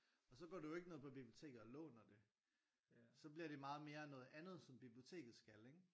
Og så går du jo ikke ned på biblioteket og låner det. Så bliver det meget mere noget andet som biblioteket skal ikke?